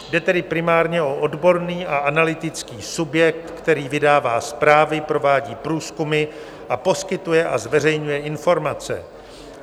Jde tedy primárně o odborný a analytický subjekt, který vydává zprávy, provádí průzkumy a poskytuje a zveřejňuje informace.